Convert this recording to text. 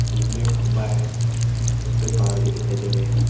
जीसमें खंबा है उस पे तार भी दिखाई दे रहे हैं।